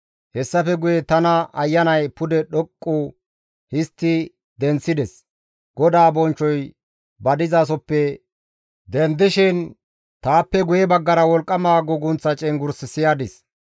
Hessafe guye tana Ayanay pude dhoqqu histti denththides; GODAA bonchchoy ba dizasoppe dendishin taappe guye baggara wolqqama guugunththa cenggurs siyadis.